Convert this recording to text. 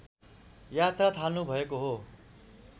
यात्रा थाल्नुभएको हो